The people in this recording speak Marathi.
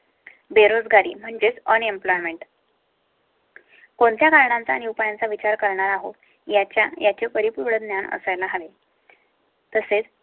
बेरोजगारी म्हणजेच ऑन unemployment कोणत्या कारणाने उपायांचा विचार करणार आहोत. याच्या याचे परिपूर्ण ज्ञान असाय ला हवे. तसेच